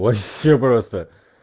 вообще просто